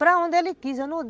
Para onde ele quis.